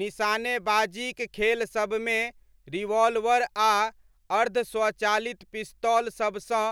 निशानेबाजीक खेलसबमे रिवॉल्वर आ अर्ध स्वचालित पिस्तौल सबसँ